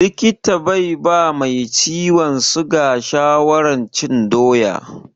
Likita bai ba mai ciwon siga shawarar cin doya.